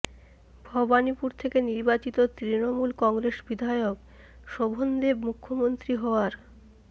ভবানীপুর থেকে নির্বাচিত তৃণমূল কংগ্রেস বিধায়ক শোভনদেব মুখ্যমন্ত্রী হওয়ার